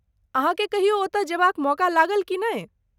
अहाँके कहियो ओतय जेबाक मौका लागल की नहि?